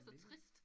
Så trist